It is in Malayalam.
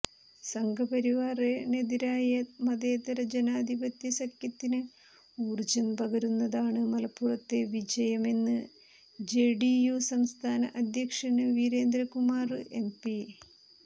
സംഘപരിവാറിനെതിരായ മതേതര ജനാധിപത്യ സഖ്യത്തിന് ഊര്ജം പകരുന്നതാണ് മലപ്പുറത്തെ വിജയമെന്ന് ജെഡിയു സംസ്ഥാന അധ്യക്ഷന് വീരേന്ദ്രകുമാര് എംപി